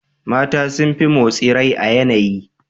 Mata sun fi motsi rai a yanayi.